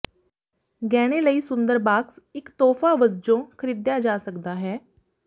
ਗਹਿਣੇ ਲਈ ਸੁੰਦਰ ਬਾਕਸ ਇੱਕ ਤੋਹਫ਼ਾ ਵਜੋਂ ਖਰੀਦਿਆ ਜਾ ਸਕਦਾ ਹੈ